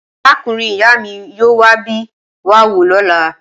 Arákùnrin-ìyá mi yóò wá bẹ̀ wá wò lọ́la.